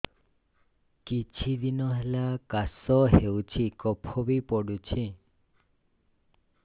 କିଛି ଦିନହେଲା କାଶ ହେଉଛି କଫ ବି ପଡୁଛି